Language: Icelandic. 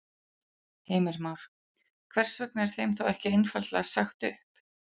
Heimir Már: Hvers vegna er þeim þá ekki einfaldlega sagt upp?